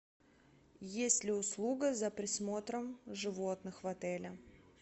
есть ли услуга за присмотром животных в отеле